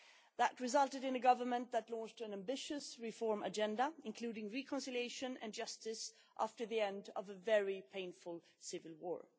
That resulted in a Government that launched an ambitious reform agenda, including reconciliation and justice, after the end of a very painful civil war.